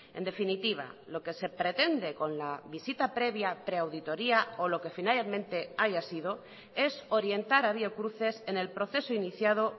en definitiva lo que se pretende con la visita previa preauditoría o lo que finalmente haya sido es orientar a biocruces en el proceso iniciado